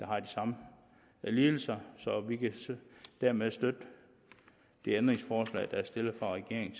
har de samme lidelser så vi kan dermed støtte det ændringsforslag der er stillet af regeringen